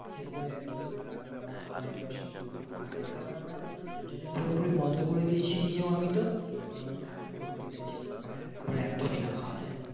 সেগুলোই আর কি তোর রান্নাবান্না হয় এবং সেগুলোই খাওয়া বাইরের খাবার আমরা totally পুরোপুরি বন্ধ করে দিয়েছি নিজেও আমি তো এবং আমার family কেও বলে দিয়েছি যেন বাইরের খাবার একদমই না খাওয়া যায়